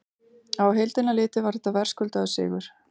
Á heildina litið var þetta verðskuldaður sigur.